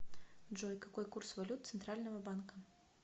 джой какой курс валют центрального банка